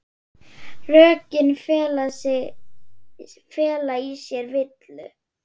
Rökin fela í sér villu.